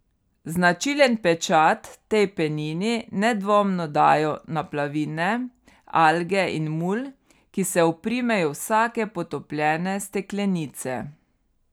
Značilen pečat tej penini nedvomno dajo naplavine, alge in mulj, ki se oprimejo vsake potopljene steklenice.